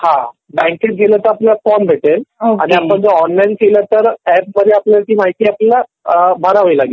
हा बँकेत गेला तर आपल्याला फॉर्म भेटेल.आणि आपण जर ऑनलाईन केलं तर ॲप द्वारे आपल्याला ती माहिती आपल्याला भरावी लागेल.